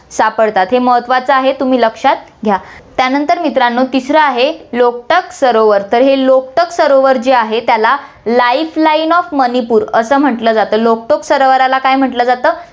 सापडतात, हे महत्वाचं आहे, तुम्ही लक्षात घ्या. त्यानंतर मित्रांनो, तिसरं आहे, लोकटाक सरोवर तर हे लोकटाक सरोवर जे आहे, त्याला life line of माणिपूर असं म्हंटलं जातं, लोकटाक सरोवराला काय म्हंटलं जातं,